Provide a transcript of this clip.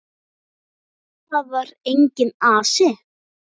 Þar var enginn asi.